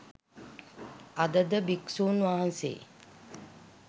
අදද භික්ෂූන් වහන්සේ